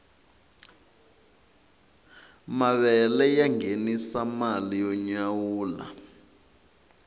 mavele ya ngenisa mali yo nyawula